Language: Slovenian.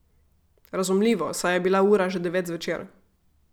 Razumljivo, saj je bila ura že devet zvečer.